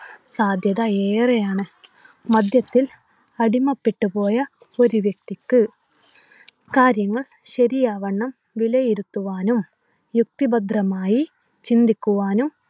സാധ്യത ഏറെയാണ്. മദ്യത്തിൽ അടിമപ്പെട്ടു പോയ ഒരു വ്യക്തിക്ക് കാര്യങ്ങൾ ശരിയാവണ്ണം വിലയിരുത്തുവാനും യുക്തിഭദ്രമായി ചിന്തിക്കുവാനും